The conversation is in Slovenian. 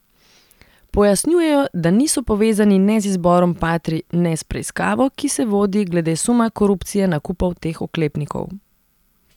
Pojasnjujejo, da niso povezani ne z izborom patrij ne s preiskavo, ki se vodi glede suma korupcije nakupov teh oklepnikov.